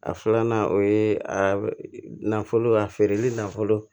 A filanan o ye a nafolo a feereli nafolo